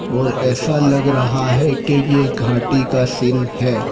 और ऐसा लग रहा है के ये घाटी का सीन है।